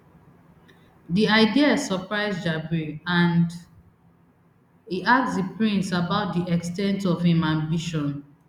di ideas surprise jabri and e ask di prince about di ex ten t of im ambition